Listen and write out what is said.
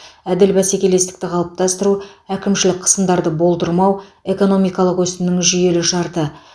әділ бәсекелестік қалыптастыру әкімшілік қысымдарды болдырмау экономикалық өсімнің жүйелі шарты